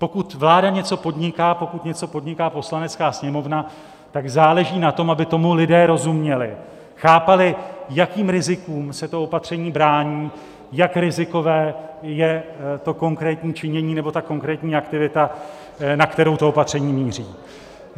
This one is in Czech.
Pokud vláda něco podniká, pokud něco podniká Poslanecká sněmovna, tak záleží na tom, aby tomu lidé rozuměli, chápali, jakým rizikům se to opatření brání, jak rizikové je to konkrétní činění nebo ta konkrétní aktivita, na kterou to opatření míří.